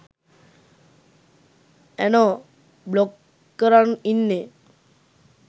ඇනෝ බ්ලොක් කරන් ඉන්නෙ